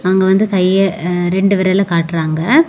அங்க வந்து கைய அஅ ரெண்டு விரல காட்றாங்க.